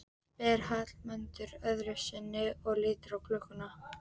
spyr Hallmundur öðru sinni og lítur á klukkuna.